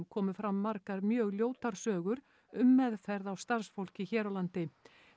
komu fram margar mjög ljótar sögur um meðferð á starfsfólki hér á landi